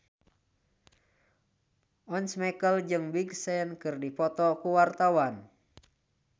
Once Mekel jeung Big Sean keur dipoto ku wartawan